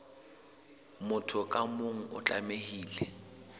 motho ka mong o tlamehile